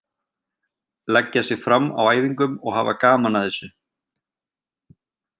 Leggja sig fram á æfingum og hafa gaman að þessu.